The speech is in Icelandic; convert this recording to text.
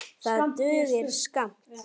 Það dugir skammt.